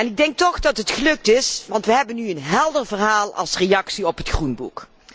Ik denk toch dat het gelukt is, want wij hebben nu een helder verhaal als reactie op het Groenboek.